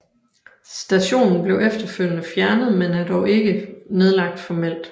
Stationen blev efterfølgende fjernet men er dog ikke nedlagt formelt